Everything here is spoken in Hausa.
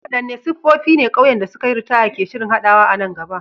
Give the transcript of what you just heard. Wadanne siffofi ne ƙauyen da suka yi ritaya ke shirin haɗawa a nan gaba?